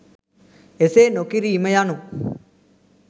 එසේ නොකිරීම යනු